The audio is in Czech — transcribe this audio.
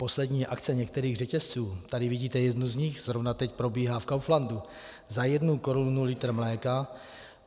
Poslední akce některých řetězců, tady vidíte jednu z nich , zrovna teď probíhá v Kauflandu, za jednu korunu litr mléka.